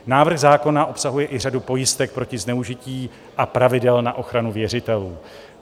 Návrh zákona obsahuje i řadu pojistek proti zneužití a pravidel na ochranu věřitelů.